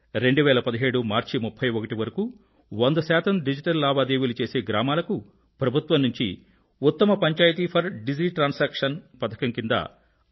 2017 March 31 వరకూ 100 శాతం digital లావాదేవీలు చేసే గ్రామాలకు ప్రభుత్వం నుంచి ఉత్తమ పంచాయత్ ఫర్ డిజి ట్రాన్సాక్షన్ పథకం క్రింద రూ